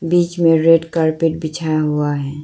बीच favourite carpet बिछा हुआ है।